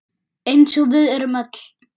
Eins og við erum öll.